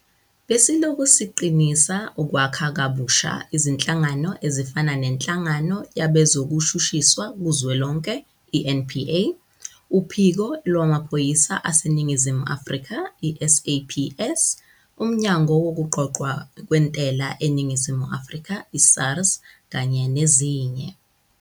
Besilokhu siqinisa ukwakha kabusha izinhlangano ezifana neNhlangano Yabezokushushiswa Kuzwelonke, i-NPA, uPhiko Lwamaphoyisa aseNingizimu Afrika, i-SAPS, uMnyango Wokuqoqwa kweNtela eNingizimu Afrika, i-SARS, kanye nezinye.